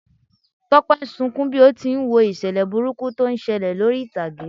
Tọ́pẹ́ ń sunkún bí ó ti n wo ìṣẹ̀lẹ̀ burúkú tó ń ṣẹlẹ̀ lórí ìtàgé.